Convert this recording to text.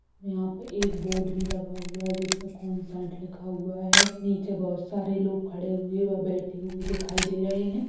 यहाँ पे एक बोर्ड भी लगा हुआ है जिसपे कॉन्सर्ट लिखा हुआ है नीचे बहोत सारे लोग खड़े व बैठे हुए दिखाई दे रहे हैं।